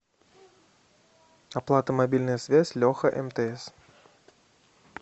оплата мобильная связь леха мтс